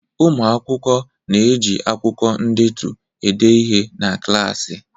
Ụmụ akwụkwọ na-eji akwụkwọ ndetu ede ihe na klaasị.